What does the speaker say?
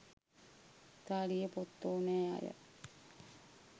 ඉතාලියේ පොත් ඕනෑ අය